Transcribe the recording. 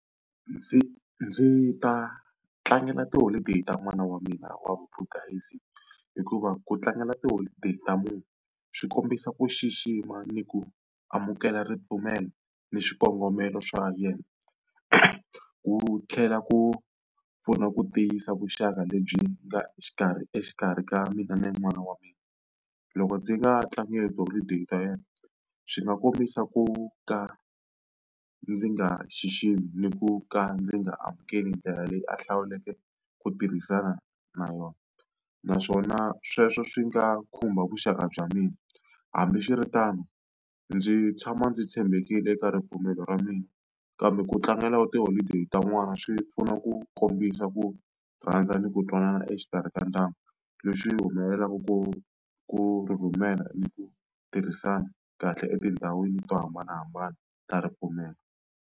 Ndzi ndzi ta tlangela tiholideyi ta n'wana wa mina wa vubudhasm, hikuva ku tlangela tiholideyi ta munhu swi kombisa ku xixima ni ku amukela ripfumelo ni swikongomelo swa yena. Ku tlhela ku pfuna ku tiyisa vuxaka lebyi nga exikarhi exikarhi ka mina na n'wana wa mina. Loko ndzi nga tlangeli tiholideyi ta yena swi nga kombisa ku ka ndzi nga xiximi ni ku ka ndzi nga amukeli ndlela leyi a hlawuleke ku tirhisana na yona, naswona sweswo swi nga khumba vuxaka bya mina. Hambiswiritano ndzi tshama ndzi tshembekile eka ripfumelo ra mina, kambe ku tlangela tiholideyi ta n'wana swi pfuna ku kombisa ku rhandza ni ku twanana exikarhi ka ndyangu. Lexi humelelaka ku ku rhumela ni ku tirhisana kahle etindhawini to hambanahambana ta ripfumelo.